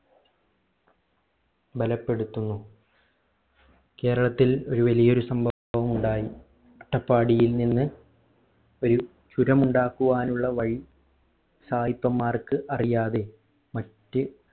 ബലപ്പെടുത്തുന്നു കേരളത്തിൽ ഒരു വലിയൊരു സംഭവം ഉണ്ടായി അട്ടപ്പാടിയിൽ നിന്ന് ഒരു ചുരം ഉണ്ടാകുവാനുള്ള വഴി സായിപ്പൻമ്മാർക്ക് അറിയാതെ മറ്റ്